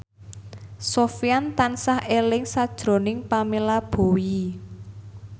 Sofyan tansah eling sakjroning Pamela Bowie